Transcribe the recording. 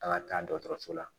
An ka taa dɔgɔtɔrɔso la